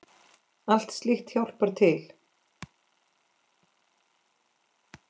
Allt slíkt hjálpar til.